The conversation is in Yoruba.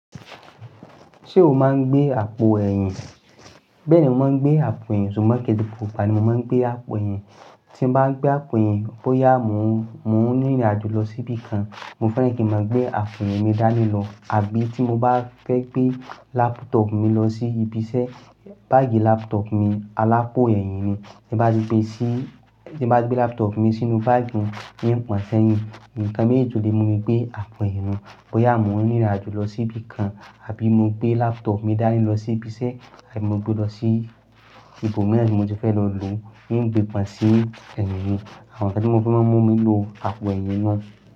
Ṣé o máa ń gbé àpò ẹ̀yìn? Bẹ́ẹ̀ ni mo máa ń gbé àpò ẹ̀yìn, ṣùgbọ́n keẹ́ se pupa ni mo máa ń gbé àpò ẹ̀yìn. Tí n bá ń gbé àpò ẹ̀yìn, bóyá mo ń rìn ìrìnàjò lọ sí ibì kan, mo fẹ́ràn kí n máa gbé àpò ẹ̀yìn mi dání lọ. Àbí tí mo bá fẹ́ gbé laptop mi lọ sí ibi iṣẹ́, báágì laptop mi alápò ẹ̀yìn ni. Tí n bá ti gbé si, tí n bá gbé laptop mi sínú báágì mi, in pọ̀n ṣẹ́yìn. Nnkan méjì tó lé mu lè gbé àpò ẹ̀yìn nu. Bóyá mo ń rìn ìrìnàjò lọ sí ibì kan, àbí mo gbé laptop mi dání lọ sí ibi iṣẹ́, àbí mo gbé lọ sí ibòmíràn tí mo ti fẹ́ lọ lò ó, in gbé pọ̀n sí ẹ̀yín mi. Àwọn ǹkan tí mo fi mon mú mi lò àpò ẹ̀yìn nu.